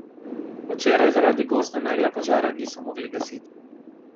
Včeraj zaradi goste megle požara niso mogli gasiti.